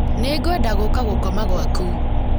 Nĩngwenda gũũka gũkoma gwaku